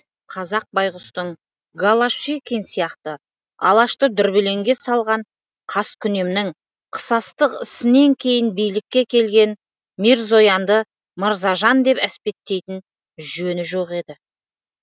қазақ байғұстың голошекин сияқты алашты дүрбелеңге салған қаскүнемнің қысастық ісінен кейін билікке келген мирзоянды мырзажан деп әспеттейтін жөні жоқ еді